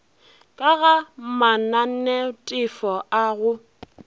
ka ga mananetefo a go